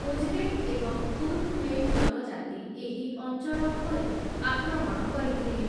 Uzbek ଏବଂ Turkmen ଜନଜାତି, ଏହି ଅଞ୍ଚଳ ଉପରେ ଆକ୍ରମଣ କରିଥିଲେ ।